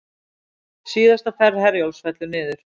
Síðasta ferð Herjólfs fellur niður